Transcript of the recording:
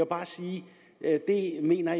bare sige at jeg mener